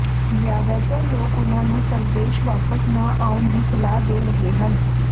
ਜ਼ਿਆਦਾਤਰ ਲੋਕ ਉਨ੍ਹਾਂ ਨੂੰ ਸਵਦੇਸ਼ ਵਾਪਸ ਨਾ ਆਉਣ ਦੀ ਸਲਾਹ ਦੇ ਰਹੇ ਹਨ